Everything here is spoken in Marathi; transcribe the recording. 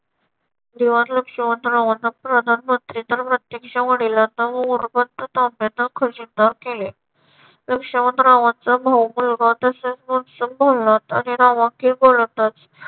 दिवाण लक्ष्मण रावांना प्रधानमंत्री तर प्रत्यक्ष वडिलांना मोरोपंत तांब्यांना खजिनदार केले. लक्ष्मण रावांचा भाऊ मुलगा तसेच मंजू भोलानाथ आणि रावांची गोलंदाज